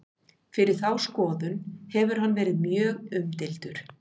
fyrir þá skoðun hefur hann verið mjög umdeildur